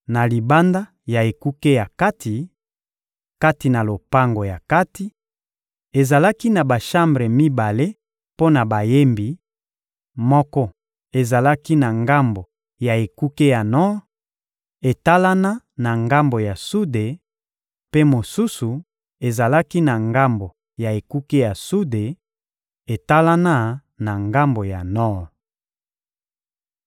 Na libanda ya ekuke ya kati, kati na lopango ya kati, ezalaki na bashambre mibale mpo na bayembi: moko ezalaki na ngambo ya ekuke ya nor, etalana na ngambo ya sude, mpe mosusu ezalaki na ngambo ya ekuke ya sude, etalana na ngambo ya nor.